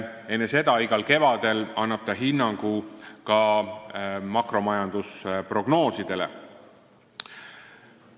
Enne seda igal kevadel annab ta hinnangu ka makromajandusprognoosidele.